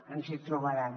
ens hi trobaran